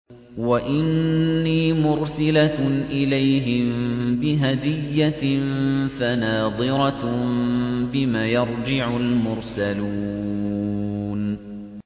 وَإِنِّي مُرْسِلَةٌ إِلَيْهِم بِهَدِيَّةٍ فَنَاظِرَةٌ بِمَ يَرْجِعُ الْمُرْسَلُونَ